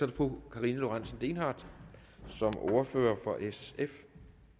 det fru karina lorentzen dehnhardt som ordfører for sf